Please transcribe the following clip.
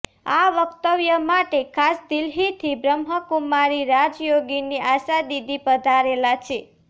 આ વકતવ્ય માટે ખાસ દિલ્હીથી બ્રહ્મકુમારી રાજયોગીની આશાદીદી પધારેલા છે